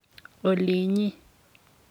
Olinyi